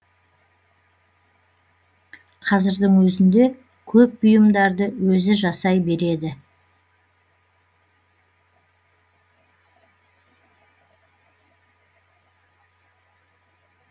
қазірдің өзінде көп бұйымдарды өзі жасай береді